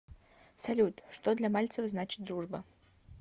салют что для мальцева значит дружба